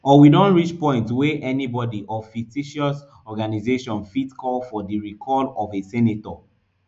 or we don reach point wey anybody or fictitious organization fit call for di recall of a senator